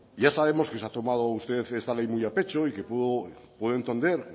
ya sabemos que se ha tomado usted esta ley muy a pecho y que puedo entender